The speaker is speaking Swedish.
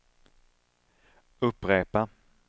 upprepa